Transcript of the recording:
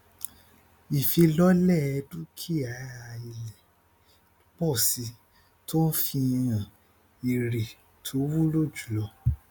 àtúpalẹ ìṣòwò ọjà fi hàn ìyípadà ìyípo ìṣòwò dínkù ìdínkù iye ìṣòwò lọ lọ sí ókàndínlógójì um